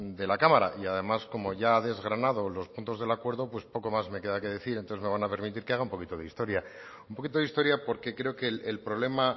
de la cámara y además como ya ha desgranado los puntos del acuerdo pues poco más me queda que decir entonces me van a permitir que haga un poquito de historia un poquito de historia porque creo que el problema